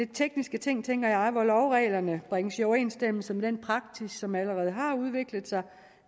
tekniske ting tænker jeg hvor lovreglerne bringes i overensstemmelse med den praksis som allerede har udviklet sig